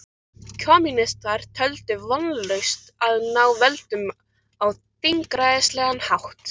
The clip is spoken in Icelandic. Kommúnistar töldu vonlaust að ná völdum á þingræðislegan hátt.